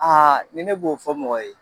ni ne b'o fɔ mɔgɔ ye